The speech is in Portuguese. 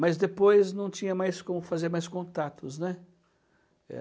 Mas depois não tinha mais como fazer mais contatos, né? Eh,